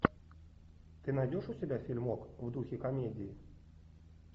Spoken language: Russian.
ты найдешь у себя фильмок в духе комедии